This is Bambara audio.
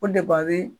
O de b'a bi